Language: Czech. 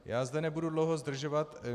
Já zde nebudu dlouho zdržovat.